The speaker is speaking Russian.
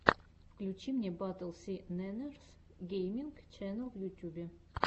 включи мне батл си нэннерс гейминг ченнел в ютюбе